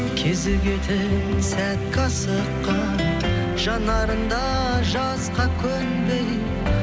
кезі кетіп сәтке асыққан жанарыңда жасқа көнбей